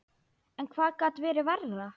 En hvað gat verið verra?